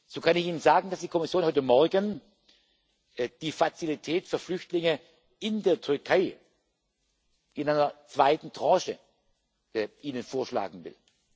So kann ich Ihnen sagen, dass die Kommission Ihnen heute Morgen die Fazilität für Flüchtlinge in der Türkei in einer zweiten Tranche vorschlagen will.